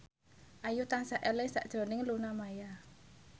Ayu tansah eling sakjroning Luna Maya